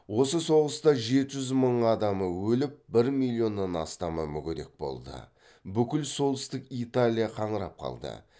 осы соғыста жеті жүз мың адамы өліп бір миллионнан астамы мүгедек болды бүкіл солтүстік италия қаңырап қалды